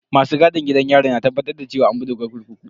Masu gadin gidan yari na tabbatar da cewa an bi dokar kurkuku.